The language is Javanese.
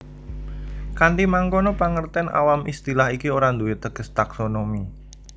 Kanthi mangkono pangertèn awam istilah iki ora duwé teges taksonomi